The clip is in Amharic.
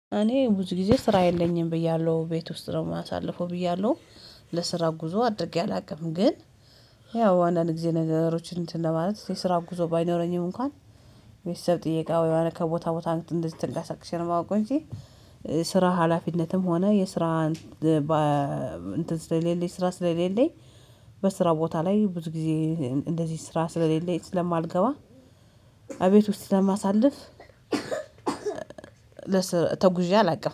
እኔ ብዙ ጊዜ ስራ የለኝም ብዬሃለሁ ቤት ውስጥ ነው የማሳልፈው ብዬሀለሁ። ለስራ ጉዞ አድርጌ አላውቅም ግን ያው አንዳንድ ጊዜ ነገሮችን እንትን ለማለት የስራ ጉዞ ባይኖረኝም እንኳን ቤተሰብ ጥየቃ ወይ የሆነ ከቦታ ቦታ እንደዚህ ተንቀሳክሼ ነው የማውቀው እንጂ። ስራ ሀላፊነትም ሆነ የስራ እንትን ስለሌለኝ ስራ ስለሌለኝ በስራ ቦታ ላይ ብዙ ጊዜ እንደዚህ ስራ ስለሌለኝ ስለማልገባ እቤት ውስጥ ስለማሳልፍ። ለስራ ተጉዤ አላውቅም